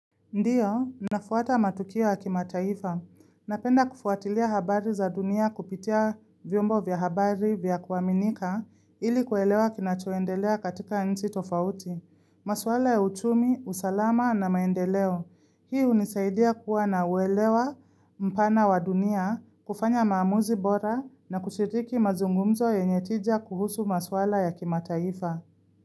Ndio, nafuata matukio ya kimataifa. Napenda kufuatilia habari za dunia kupitia vyombo vya habari vya kuaminika ili kuelewa kinachoendelea katika nji tofauti. Maswala ya uchumi, usalama na maendeleo. Hii hunisaidia kuwa na uelewa mpana wa dunia, kufanya maamuzi bora na kushiriki mazungumzo yenye tija kuhusu maswala ya kimataifa.